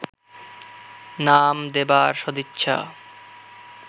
নাম দেবার সদিচ্ছা